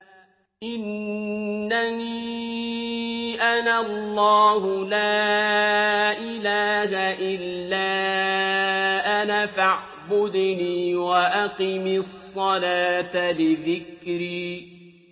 إِنَّنِي أَنَا اللَّهُ لَا إِلَٰهَ إِلَّا أَنَا فَاعْبُدْنِي وَأَقِمِ الصَّلَاةَ لِذِكْرِي